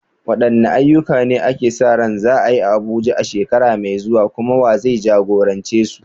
Wadanne ayyuka ne ake sa ran za a yi a Abuja a shekara mai zuwa, kuma wa zai jagorance su?